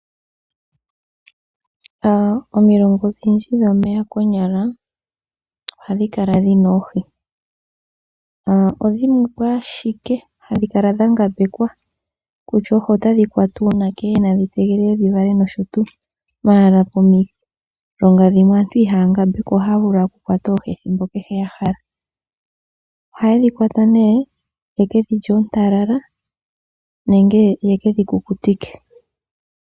Omilonga odhindji dhomeya konyala ohadhi kala dhina oohi ,odhimwepo ashike hashi kala dha ngambekwa kutya oohi otadhi kwatwa uunake nadhi tegelele dhivale nosho tuu. Pomilonga dhimwe aantu ihaya ngambekwa ohaya vulu okukwata oohi ethimbo yahala. Oha yeshi kwata nee yekedhilye oontalala nenge ye kedhi kukutike.